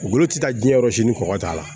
Golo tɛ taa jiyɛn yɔrɔ si ni kɔ k'a la